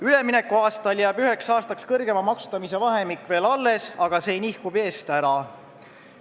Üleminekuajal jääb üheks aastaks suurema maksustamise vahemik veel alles, aga see nihkub eest ära.